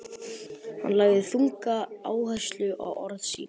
Hann lagði þunga áherslu á orð sín.